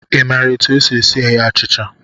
I maara etu e si eghe achịcha?